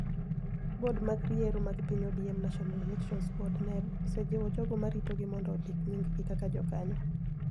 Bod mar yiero mag piny ODM National Elections Board (NEB) osejiwo jogo ma ritogi mondo ondik nyinggi kaka jokanyo